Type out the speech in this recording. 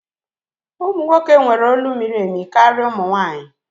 Ụmụ nwoke nwere olu miri emi karịa ụmụ nwanyị